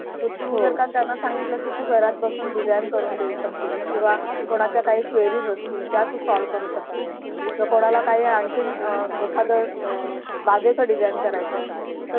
तु जर का त्यानं सांगितलं कि तू घरात बसून Design करून देऊ शकतेस. किंवा कोणाच्या काही Quiries असतील त्या Solve करू शकतेस जर कोणाला काही आणखी एखाद बागेचं Design करायचं आहे